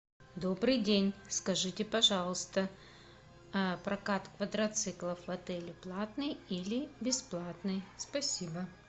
добрый день скажите пожалуйста прокат квадроциклов в отеле платный или бесплатный спасибо